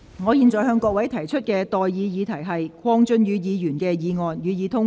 我現在向各位提出的待議議題是：鄺俊宇議員動議的議案，予以通過。